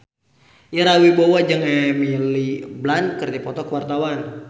Ira Wibowo jeung Emily Blunt keur dipoto ku wartawan